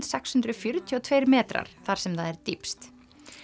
sextán hundruð fjörutíu og tveir metrar þar sem það er dýpst